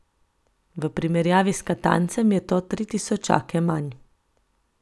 V primerjavi s Katancem je to tri tisočake manj.